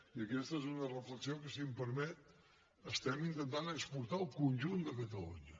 i aquesta és una reflexió que si em permet estem intentant exportar al conjunt de catalunya